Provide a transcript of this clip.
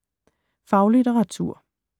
Faglitteratur